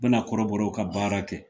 Bɛna kɔrɔbɔraw ka baara kɛ.